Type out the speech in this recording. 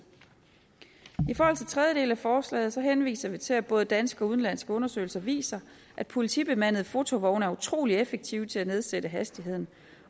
tredje del af forslaget henviser vi til at både danske og udenlandske undersøgelser viser at politibemandede fotovogne er utrolig effektive til at nedsætte hastigheden